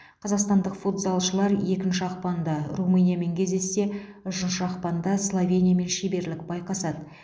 қазақстадық футзалшылар екінші ақпанда румыниямен кездессе үшінші ақпанда словениямен шеберлік байқасады